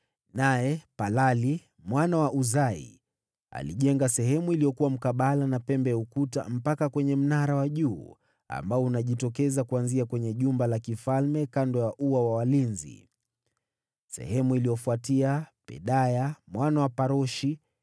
Naye Palali, mwana wa Uzai alijenga sehemu iliyokuwa mkabala na pembe ya ukuta, mpaka kwenye mnara wa juu ambao unajitokeza kuanzia kwenye jumba la kifalme, kando ya ua wa walinzi. Baada yake, Pedaya mwana wa Paroshi,